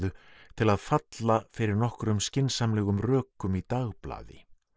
til að falla fyrir nokkrum skynsamlegum rökum í dagblaði